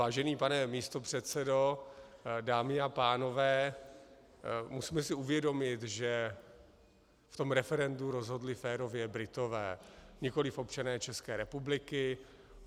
Vážený pane místopředsedo, dámy a pánové, musíme si uvědomit, že v tom referendu rozhodli férově Britové, nikoliv občané České republiky.